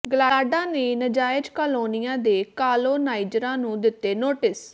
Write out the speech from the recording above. ਗਲਾਡਾ ਨੇ ਨਾਜਾਇਜ਼ ਕਾਲੋਨੀਆਂ ਦੇ ਕਾਲੋਨਾਈਜ਼ਰਾਂ ਨੂੰ ਦਿੱਤੇ ਨੋਟਿਸ